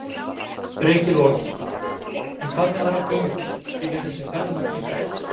Breki Logason: En hvað með aðra þjónustu, skilja þessir ferðamenn eitthvað eftir?